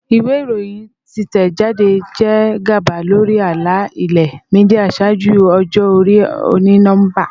Iwe iroyin titẹjade jẹ gaba lori ala-ilẹ media ṣaaju ọjọ-ori oni-nọmba.